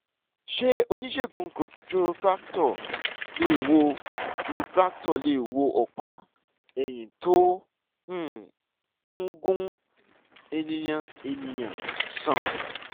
ṣé oníṣègùn chiropractor lè wo chiropractor lè wo ọ̀pá-ẹyín tó um ń gún eniyanènìyàn sàn?